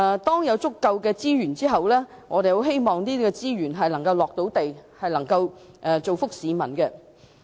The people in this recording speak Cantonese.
在有足夠資源後，我們希望資源能夠"着地"，造福市民。